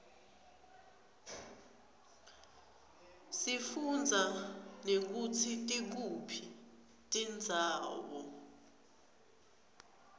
sifundza nekutsi tikuphi tindzawo